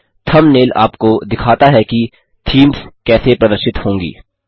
thumbnail आपको दिखाता है कि थीम्स कैसे प्रदर्शित होंगी